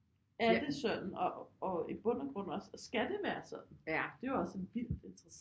Er det sådan og i bund og grund også skal det være sådan det er jo også en vildt interessant